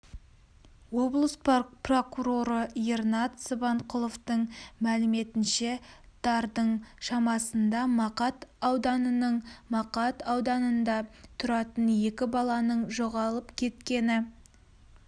облыс прокуроры ернат сыбанқұловтың мәліметінше дардың шамасында мақат ауданының мақат ауданында тұратын екі баланың жоғалып кеткені